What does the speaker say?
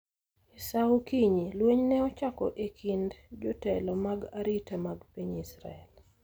E saa okinyi, lweny ne ochako e kind jotelo mag arita mag piny Israel